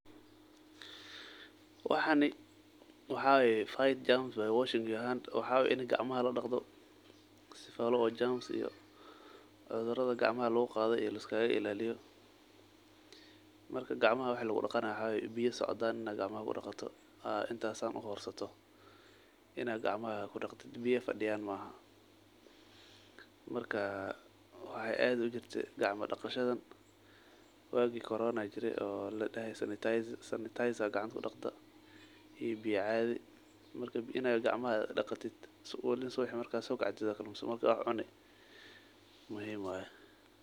Waxan waxa waye fight germs washing your hands waxa waye ladagal jermis sifa gacmaha lodaqdo cudurada gacamaha lagaqado laiskailaliyo. Waxa udaqi inta biyo socdan horsato aya kudaqi biyo fadiyan maaha marka wagi coronaha socde aya gacmo daq sanitizer gacaanta iyo biyo caadi oo waliba subixi marka sokacdid oo wax cuni muhiimm waye.